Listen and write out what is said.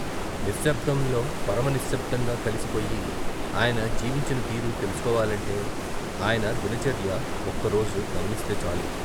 నిశ్శబ్దంలో పరమ విశ్శబ్దంగా కలిసిపోయి ఆయన జీవించిన తీరు తెలుసుకోవాలంటే ఆయన దినచర్య ఒక్క రోజు గమనిస్తేచాలు.